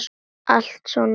Alltaf svona kekk?